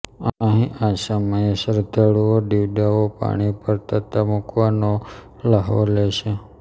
અહીં આ સમયે શ્રધ્ધાળુઓ દિવડાઓ પાણી પર તરતા મૂકવાનો લ્હાવો લે છે